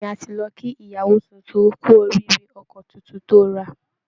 Bẹ́ẹ̀ ni, a ti lọ kí ìyàwó tuntun kú oríire ọkọ̀ tuntun tó ra